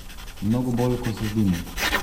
Mnogo bolj, ko se zdimo.